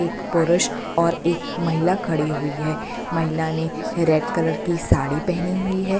एक पुरुष और एक महिला खड़ी हुई है महिला ने रेड कलर की साड़ी पहनी हुई है।